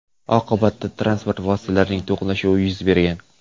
Oqibatda transport vositalarining to‘qnashuvi yuz bergan.